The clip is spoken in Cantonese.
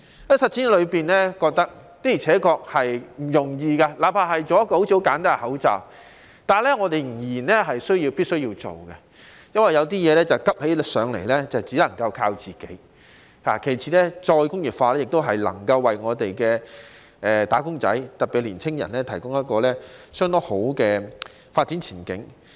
在實踐之中，發覺的確不容易，即使只是製造一個看似十分簡單的口罩，但我們仍然必須做，因為有些事情急起來只能靠自己，其次是再工業化能夠為"打工仔"提供相當好的發展前景。